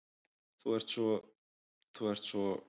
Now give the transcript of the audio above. Þú ert svo. þú ert svo.